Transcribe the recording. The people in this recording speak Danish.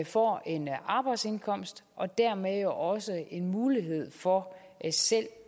får en arbejdsindkomst og dermed også en mulighed for selv